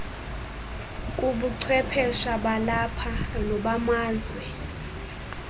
kubuchwephesha balapha nobamazwe